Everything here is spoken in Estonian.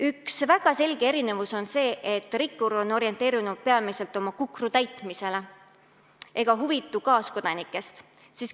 Üks väga selgeid erinevusi on see, et rikkur on orienteeritud peamiselt oma kukru täitmisele ega huvitu kaaskodanikest.